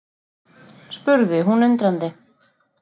spurði hún undrandi.